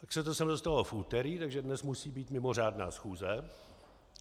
Tak se to sem dostalo v úterý, takže dnes musí být mimořádná schůze.